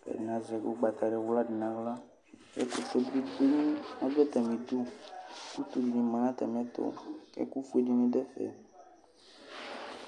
kʋ ɛdini azɛ ʋgbatawla di nʋ aɣla kʋ ɛkʋtɛ bidʋ atami ɩdʋ kʋ utu ni manʋ atami ɛtʋ kʋ ekʋ fuedini dʋ ɛfɛ